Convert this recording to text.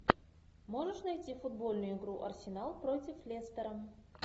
можешь найти футбольную игру арсенал против лестера